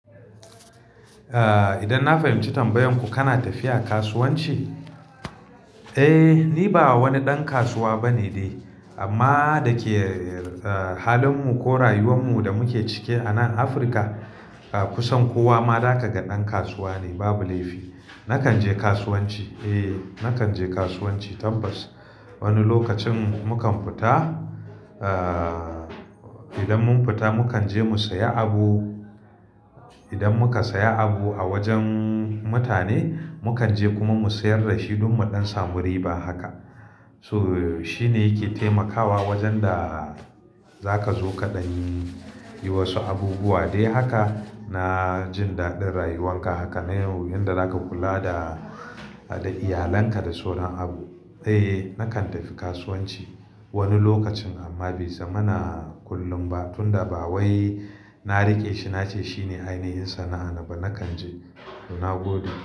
Eh, idan na fahimci tambayan ku, kana tafiya kasuwanci? Eh, ni ba wani ɗan kasuwa bane dai amma da ke, eh, halinmu ko rayuwanmu da muke ciki a nan Afirka, kusan kowa ma zakaga na ɗan kasuwa ne, babu laifi. Nakan je kasuwanci, eh, nakan je kasuwanci tambas. Wani lokacin mu kan fita, ah, idan mun fita mu kan je mu saya abu. Idan muka saya abu a wajen mutane, mu kan je kuma mu sayar da shi don mu ɗan samu riba haka. So, shi ne yake taimakawa wajen da za ka zo kaɗan yi, yi wasu abubuwa. Dai haka na jin daɗin rayuwanka haka ne, wanda zaka kula da, da iyalanka da sauran abu. Eh, nakan tafi kasuwanci wani lokacin amma bai zama na kullum ba, tunda ba wai na riƙe shi nace shine ainihin sana'a na ba. Nakan je toh nagode.